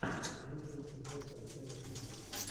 лучший эпизод альтева тиви